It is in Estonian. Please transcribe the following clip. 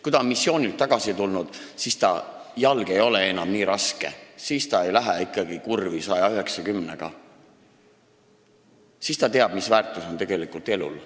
Kui noor on missioonilt tagasi tulnud, siis ta jalg ei ole enam nii raske – ta ei lähe ikkagi 190-ga kurvi, sest ta teab, mis väärtus on tegelikult elul.